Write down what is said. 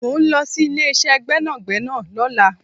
Mo ń lọ sí ilé ìṣe gbẹ́nàgbẹ́nà lọ́la